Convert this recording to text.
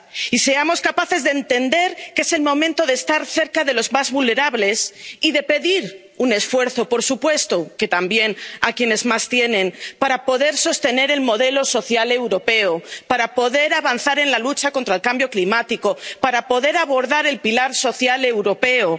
Y seamos capaces de entender que es el momento de estar cerca de los más vulnerables y de pedir un esfuerzo —por supuesto que también— a quienes más tienen para poder sostener el modelo social europeo, para poder avanzar en la lucha contra el cambio climático, para poder abordar el pilar social europeo.